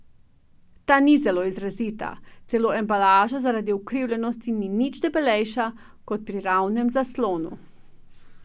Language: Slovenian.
Ta ni zelo izrazita, celo embalaža zaradi ukrivljenosti ni nič debelejša kot pri ravnem zaslonu.